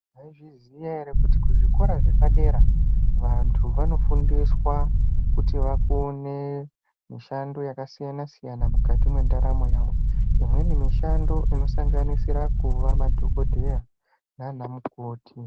Maizviziva here kuti kuzvikora zvepadera vantu vanofundiswa kuti vakone mishando yakasiyana-siyana mukati mendaramo yawo imweni mishando inosanganisira kuva madhokodheya nana mukoti.